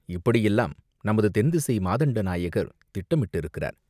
இப்படியெல்லாம் நமது தென்திசை மாதண்டநாயகர் திட்டம் இட்டிருக்கிறார்.